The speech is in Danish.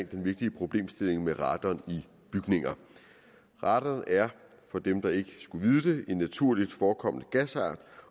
den vigtige problemstilling med radon i bygninger radon er for dem der ikke skulle vide det en naturligt forekommende gasart